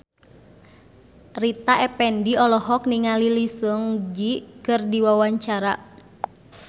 Rita Effendy olohok ningali Lee Seung Gi keur diwawancara